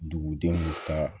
Dugudenw ka